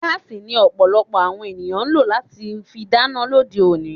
Gaasi ni Ọ̀pọ̀lọpọ̀ àwọn ènìyàn ń lọ láti fi dáná lóde òní